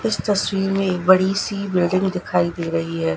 इस तस्वीर में एक बड़ी सी बिल्डिंग दिखाई दे रही है।